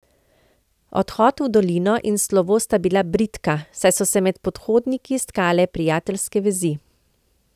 Odhod v dolino in slovo sta bila bridka, saj so se med pohodniki stkale prijateljske vezi.